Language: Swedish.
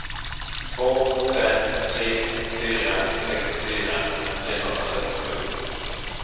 två fem tre fyra sextiofyra trehundrafyrtiosju